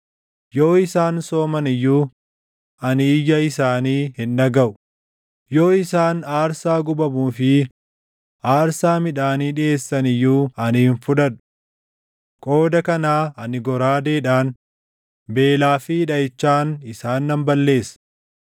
Yoo isaan sooman iyyuu ani iyya isaanii hin dhagaʼu; yoo isaan aarsaa gubamuu fi aarsaa midhaanii dhiʼeessan iyyuu ani hin fudhadhu. Qooda kanaa ani goraadeedhaan, beelaa fi dhaʼichaan isaan nan balleessa.”